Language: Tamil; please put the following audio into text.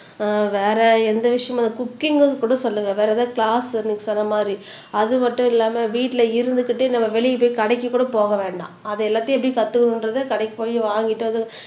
ஆஹ் வேற எந்த விஷயமும் குக்கிங்ன்னு கூட சொல்லுங்க வேற எதாவது க்ளாஸ் நீங்க சொன்ன மாதிரி அது மட்டும் இல்லாம வீட்டுல இருந்துகிட்டு நம்ம வெளிய போய் கடைக்கு கூட போக வேண்டாம் அதை எல்லாத்தையும் எப்படி கத்துக்கணுன்றதை கடைக்கு போயி வாங்கிட்டு வந்து